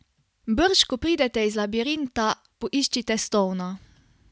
Brž ko pridete iz labirinta, poiščite Stona.